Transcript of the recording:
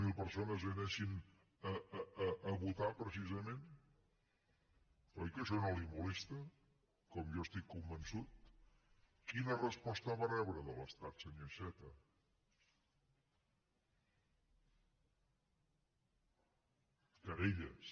zero persones anessin a votar precisament oi que això no li molesta com jo n’estic convençut quina resposta vam rebre de l’estat senyor iceta querelles